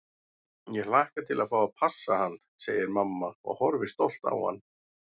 Ég hlakka til að fá að passa hann, segir mamma og horfir stolt á hann.